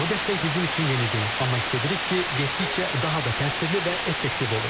Bu dəstək bizim üçün yeni deyil, amma istəyirik ki, getdikcə daha da təsirli və effektiv olur.